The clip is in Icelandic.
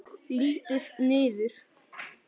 Lít niður.